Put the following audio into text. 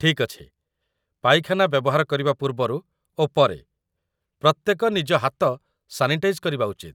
ଠିକ୍ ଅଛି, ପାଇଖାନା ବ୍ୟବହାର କରିବା ପୂର୍ବରୁ ଓ ପରେ, ପ୍ରତ୍ୟେକ ନିଜ ହାତ ସାନିଟାଇଜ୍ କରିବା ଉଚିତ